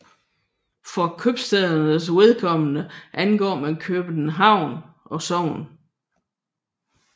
For købstædernes vedkommende angav man købstadsnavn og sogn